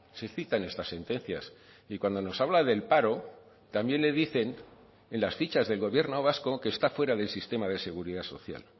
se citan estas sentencias y cuando nos habla del paro también le dicen en las fichas del gobierno vasco que está fuera del sistema de seguridad social